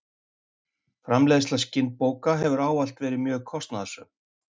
Framleiðsla skinnbóka hefur ávallt verið mjög kostnaðarsöm.